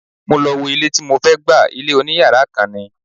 Mo lọ wo ilé tí mo fẹ́ gbà, ilé oní yàrá kan ni.